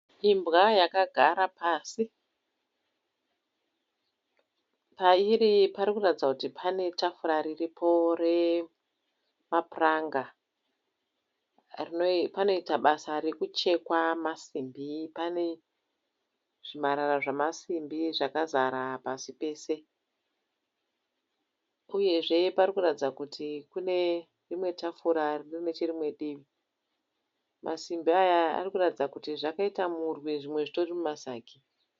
Imbwa yakagara pasi, pairi parikuratidza kuti panetafura riripo remapuranga rino panoita basa rekuchekwa masimbi panezvimarara zvamasimbi zvakazara pasi pese. Uyezve parikuratidza kuti kune rimwe tafura ririnecherimwe divi. Masimbi aya arikuratidza kuti zvakaita murwi zvimwe zvitori mumasagi.